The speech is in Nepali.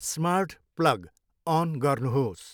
स्मार्ट प्लग अन गर्नुहोस्।